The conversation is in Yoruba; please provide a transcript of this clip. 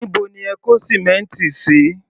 Níbo ni ẹ kó sìmẹ́ǹtì sí?